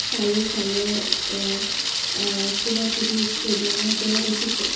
চাৰিওফালে আ আ কিবা কিবি ষ্টেডিয়াম ৰ দৰে দেখিছোঁ।